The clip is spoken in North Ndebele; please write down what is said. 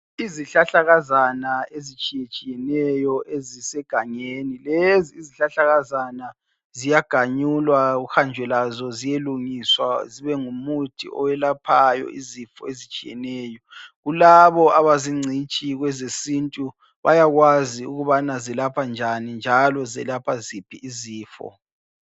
Izihlahlakazana ezitshiyetshiyeneyo esisegangeni, lezi izihlahlakazana ziyaganyulwa kuhanjwe lazo ziyelungiswa zibe ngumuthi owelaphayo izifo ezitshiyeneyo. Kulabo abazingcitshi kwezesintu bayakwazi ukubana zilapha njani njalo zelapha ziphi izifo.